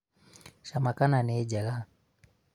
cama kana nĩ njega